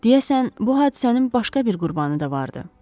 Deyəsən bu hadisənin başqa bir qurbanı da vardı.